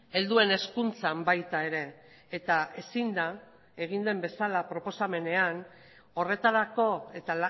helduen hezkuntzan baita ere eta ezin da egin den bezala proposamenean horretarako eta